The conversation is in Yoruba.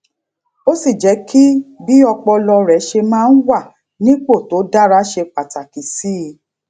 ó sì jẹ kí bí ọpọlọ rẹ ṣe máa wà nípò tó dára ṣe pàtàkì sí i